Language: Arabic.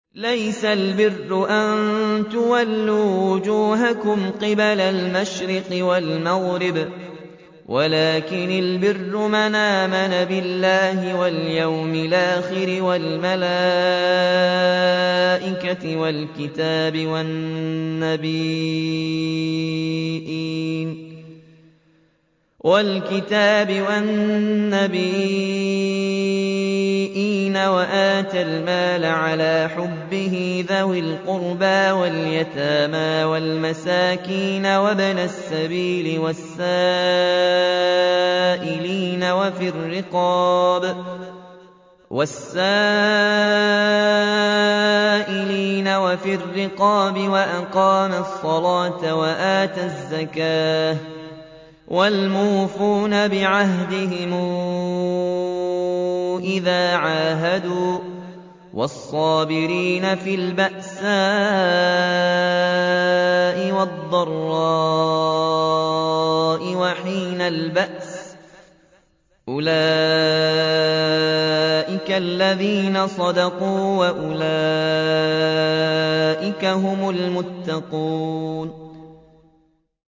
۞ لَّيْسَ الْبِرَّ أَن تُوَلُّوا وُجُوهَكُمْ قِبَلَ الْمَشْرِقِ وَالْمَغْرِبِ وَلَٰكِنَّ الْبِرَّ مَنْ آمَنَ بِاللَّهِ وَالْيَوْمِ الْآخِرِ وَالْمَلَائِكَةِ وَالْكِتَابِ وَالنَّبِيِّينَ وَآتَى الْمَالَ عَلَىٰ حُبِّهِ ذَوِي الْقُرْبَىٰ وَالْيَتَامَىٰ وَالْمَسَاكِينَ وَابْنَ السَّبِيلِ وَالسَّائِلِينَ وَفِي الرِّقَابِ وَأَقَامَ الصَّلَاةَ وَآتَى الزَّكَاةَ وَالْمُوفُونَ بِعَهْدِهِمْ إِذَا عَاهَدُوا ۖ وَالصَّابِرِينَ فِي الْبَأْسَاءِ وَالضَّرَّاءِ وَحِينَ الْبَأْسِ ۗ أُولَٰئِكَ الَّذِينَ صَدَقُوا ۖ وَأُولَٰئِكَ هُمُ الْمُتَّقُونَ